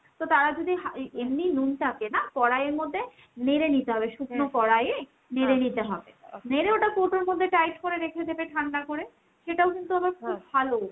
তো তারা যদি এমনি নুনটাকে নাহ কড়াইয়ের মধ্যে নেড়ে নিতে হবে কড়াইয়ে নেড়ে নিতে হবে নেড়ে ওটা কৌটোর মধ্যে tight করে রেখে দেবে ঠান্ডা করে। সেটাও কিন্তু আবার ভালো।